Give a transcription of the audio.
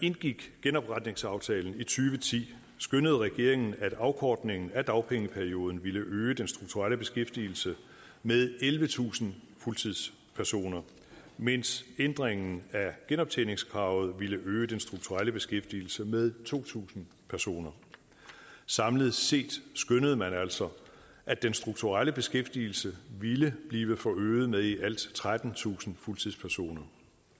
indgik genopretningsaftalen skønnede regeringen at afkortningen af dagpengeperioden ville øge den strukturelle beskæftigelse med ellevetusind fuldtidspersoner mens ændringen af genoptjeningskravet ville øge den strukturelle beskæftigelse med to tusind personer samlet set skønnede man altså at den strukturelle beskæftigelse ville blive forøget med i alt trettentusind fuldtidspersoner